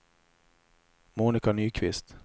Monica Nyqvist